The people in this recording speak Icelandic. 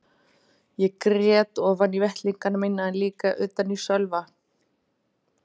Ég grét ofan í vettlingana mína en líka utan í Sölva.